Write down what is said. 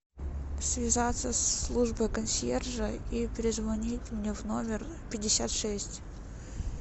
связаться со службой консьержа и перезвонить мне в номер пятьдесят шесть